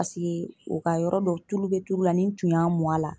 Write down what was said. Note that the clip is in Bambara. Paseke o ka yɔrɔ dɔ tulu be tulu la ni n tun y'a mun a la